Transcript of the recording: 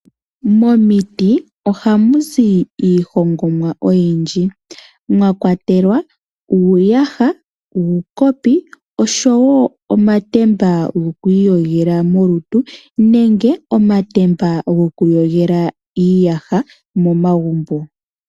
Momiiti ohamu zi iihongomwa oyindji. Mwakwatelwa uuyaha, uukopi oshowo omatemba goku iyogela molutu nenge omatemba goku yogela uuyaha momagumbo.